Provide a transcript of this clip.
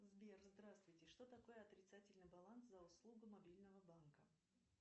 сбер здравствуйте что такое отрицательный баланс за услугу мобильного банка